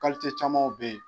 camanw bɛ ye.